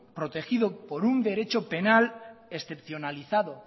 protegido por un derecho penal excepcionalizado